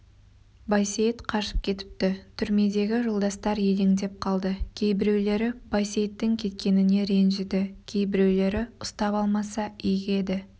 байсейіт қашып кетіпті түрмедегі жолдастар елеңдеп қалды кейбіреулері байсейіттің кеткеніне ренжіді кейбіреулері ұстап алмаса игі еді